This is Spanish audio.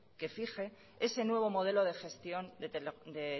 que fije ese nuevo modelo de gestión de